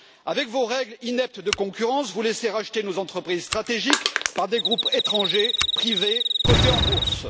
Avec vos règles ineptes de concurrence, vous laissez racheter nos entreprises stratégiques par des groupes étrangers privés cotés en bourse.